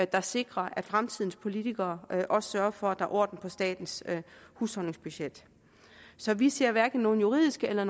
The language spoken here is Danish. der sikrer at fremtidens politikere også sørger for at der er orden på statens husholdningsbudget så vi ser hverken nogen juridiske eller